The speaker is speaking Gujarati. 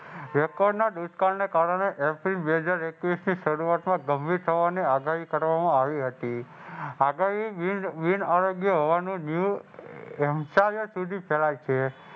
વેપારના દુષ્કાળને કારણે બે હજાર એકવીસ